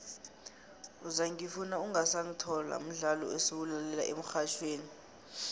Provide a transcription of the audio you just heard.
uzangifuna ungasangithola mdlolo esiwulalela emxhatjhweni